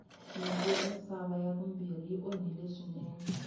nyimpi ya misava ya vumbirhi yi onhile swinene